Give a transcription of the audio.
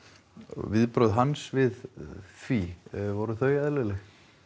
viðbrögð hans við því voru þau eðlileg